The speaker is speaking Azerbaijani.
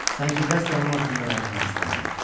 Sanki qəsdən onun haqqında danışmaq istəmirdi.